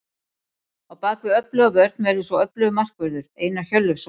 Á bakvið öfluga vörn verður svo öflugur markvörður, Einar Hjörleifsson.